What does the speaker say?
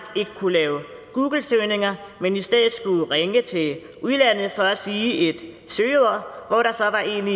ikke kunne lave googlesøgninger men i stedet skulle ringe til udlandet for at sige